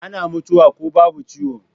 Ana mutuwa ko babu ciwo